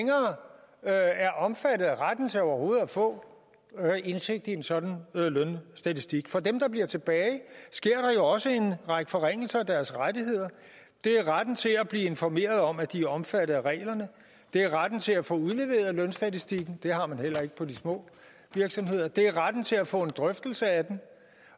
af er omfattet af retten til overhovedet at få indsigt i en sådan lønstatistik og for dem der bliver tilbage sker der jo også en række forringelser af deres rettigheder det er retten til at blive informeret om at de er omfattet af reglerne det er retten til at få udleveret lønstatistikken det har man heller ikke på de små virksomheder det er retten til at få en drøftelse af den